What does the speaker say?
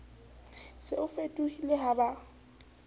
se o fetohile ha ba